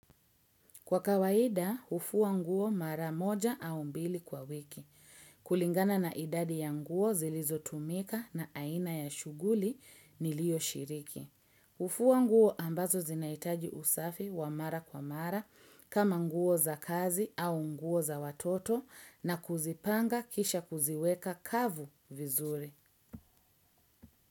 Kwa kawaida, hufua nguo mara moja au mbili kwa wiki. Kulingana na idadi ya nguo zilizotumika na aina ya shughuli nilio shiriki. Hufua nguo ambazo zinahitaji usafi wa mara kwa mara, kama nguo za kazi au nguo za watoto na kuzipanga kisha kuziweka kavu vizuri.